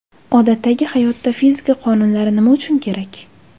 Odatdagi hayotda fizika qonunlari nima uchun kerak?.